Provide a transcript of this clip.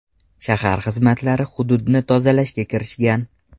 Shahar xizmatlari hududni tozalashga kirishgan.